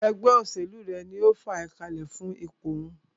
Ẹgbẹ́ òṣèlú rẹ̀ ní o fàá kalẹ̀ fún ipò òhún.